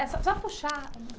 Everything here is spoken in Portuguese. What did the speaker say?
É só, só puxar.